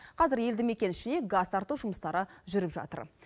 қазір елді мекен ішіне газ тарту жұмыстары жүріп жатыр